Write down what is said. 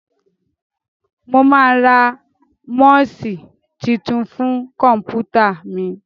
Mo máa ra mouse tuntun fún kọ̀m̀pútà mi.